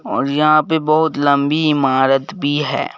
और यहां पे बहुत लंबी इमारत भी है।